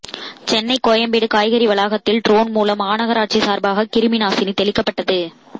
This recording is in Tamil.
சென்னை கோயம்பேடு காய்கறி வளாகத்தில் ட்ரோன் மூலம் மாநகராட்சி சார்பாக கிருமி நாசினி தெளிக்கப்பட்டது